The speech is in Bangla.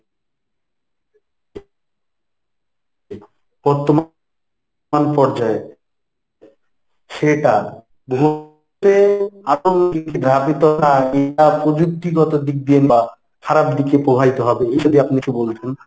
বর্তমান পর্যায়ে সেটা প্রযুক্তিগত দিক দিয়ে বা খারাপ দিকে প্রবাহিত হবে এই যদি আপনি কিছু বলতেন।